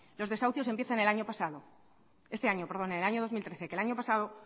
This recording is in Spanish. los desahucios empiezan el año pasado este año perdón en el año dos mil trece que el año pasado